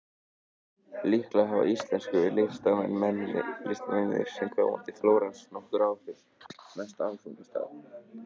Líklega hafa íslensku listamennirnir sem koma til Flórens nokkur áhrif á næsta áfangastað ungu listakonunnar.